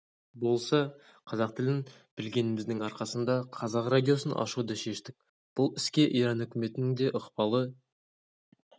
болса қазақ тілін білгеніміздің арқасында қазақ радиосын ашуды шештік бұл іске иран үкіметінің де ықпалы